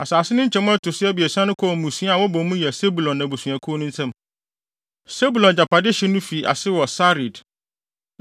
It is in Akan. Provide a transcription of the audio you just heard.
Asase no nkyemu a ɛto so abiɛsa no kɔɔ mmusua a wɔbɔ mu yɛ Sebulon abusuakuw no nsam. Sebulon agyapade hye no fi ase wɔ Sarid.